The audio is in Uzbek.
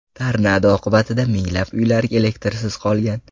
Tornado oqibatida minglab uylar elektrsiz qolgan.